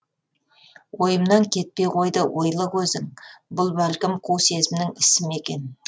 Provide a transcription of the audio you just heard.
ойымнан кетпей қойды ойлы көзің бұл бәлкім қу сезімнің ісі ма екен